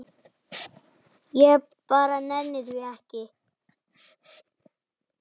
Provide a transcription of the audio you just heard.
Hún kom út í fyrra.